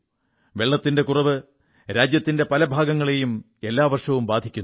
വെള്ളത്തിന്റെ കുറവ് രാജ്യത്തിന്റെ പല ഭാഗങ്ങളെയും എല്ലാ വർഷവും ബാധിക്കുന്നു